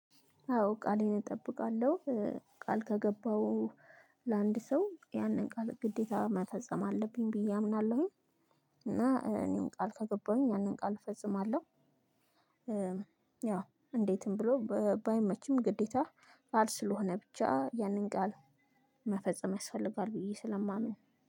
አዎ ቃሌን እጠብቃለሁ ቃል ከገባው ለአንድ ሰው ያንን ቃል ግዴታ መፈጸም አለብኝ ብዬ አምናለሁኝ። እና እኔን ቃል ከገባሁኝ ያንን ቃል እፈጽማለሁ። ያው እንዴትም ብሎ ባይመችም ግዴታ ቃል ስለሆነ ብቻ ያንን ቃል መፈጸም ያስፈልጋል ብዬ ስለማምን